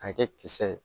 A kɛ kisɛ ye